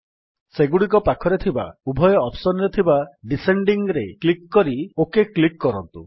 ସେଗୁଡ଼ିକ ପାଖରେ ଥିବା ଉଭୟ ଅପ୍ସନ୍ ରେ ଥିବା ଡିସେଣ୍ଡିଂ ଉପରେ କ୍ଲିକ୍ କରି ଓକ୍ କ୍ଲିକ୍ କରନ୍ତୁ